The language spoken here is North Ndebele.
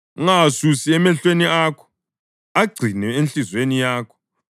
Ungawasusi emehlweni akho, agcine enhliziyweni yakho;